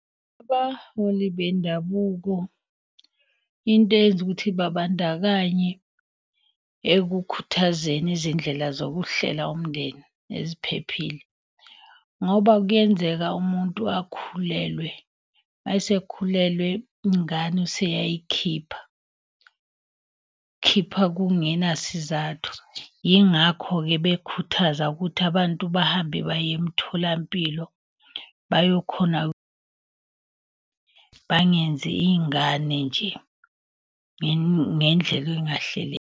Abaholi bendabuko into eyenza ukuthi babandakanye ekukhuthazeni izindlela zokuhlela umndeni eziphephile. Ngoba kuyenzeka umuntu akhulelwe, uma esekhulelwe ingane useyayikhipha, khipha kungenasizathu. Yingakho-ke bekhuthaza ukuthi abantu bahambe bayemtholampilo bayokhona, bangenzi iy'ngane nje ngendlela .